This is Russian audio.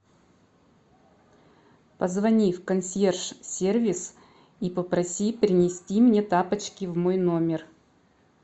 позвони в консьерж сервис и попроси принести мне тапочки в мой номер